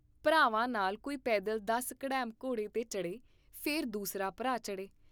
ਭਰਾਵਾਂ ਨਾਲ ਕੋਈ ਪੈਦਲ ਦਸ ਕਡੈਮਘੋੜੇ ਤੇ ਚੜ੍ਹੇ, ਫੇਰ ਦੂਸਰਾ ਭਰਾ ਚੜ੍ਹੇ।